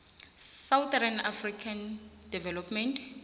southern african development